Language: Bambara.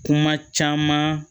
Kuma caman